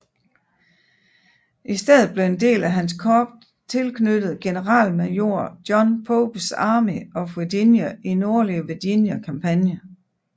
I stedet blev en del af hans korps tilknyttet generalmajor John Popes Army of Virginia i Nordlige Virginia kampagnen